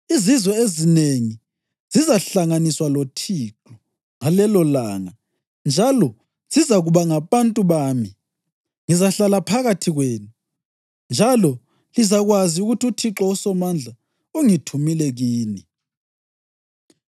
“Izizwe ezinengi zizahlanganiswa loThixo ngalelolanga njalo zizakuba ngabantu bami. Ngizahlala phakathi kwenu njalo lizakwazi ukuthi uThixo uSomandla ungithumile kini.